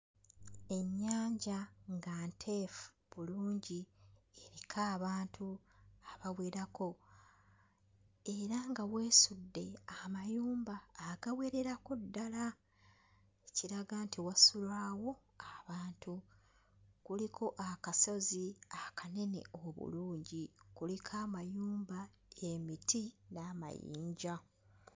Ennyanja nga nteefu bulungi eriko abantu abawerako era nga weesudde amayumba agawererako ddala, ekiraga nti wasulwawo abantu. Kuliko akasozi akanene obulungi, kuliko amayumba, emiti n'amayinja.